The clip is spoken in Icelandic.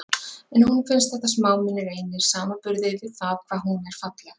En honum finnst þetta smámunir einir í samanburði við það hvað hún er falleg.